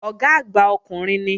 Ọ̀gá àgbà ọkùnrin ni